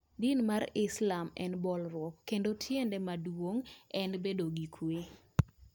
Din mar Islam tiende en bolruok kendo tiende maduong' en bedo gi kuwe.